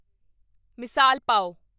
ਮਿਸਾਲ ਪਾਵ